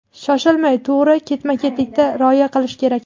shoshilmay to‘g‘ri ketma-ketlikka rioya qilish kerak.